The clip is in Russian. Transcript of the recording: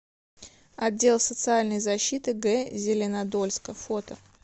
отдел социальной защиты г зеленодольска фото